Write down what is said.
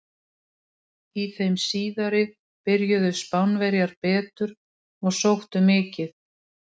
Í þeim síðari byrjuðu Spánverjar betur og sóttu mikið.